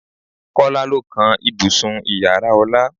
Kọ́lá ló kan ibùsùn Ìyàrá Ọlá.